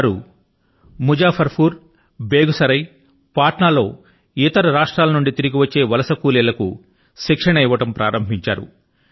వారు Muzaffarpur Begusarai Patna లో ఇతర రాష్ట్రాల నుండి తిరిగి వచ్చిన ప్రవాసీ శ్రమికుల కు శిక్షణ నివ్వడం మొదలుపెట్టారు